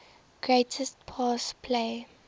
greatest pass play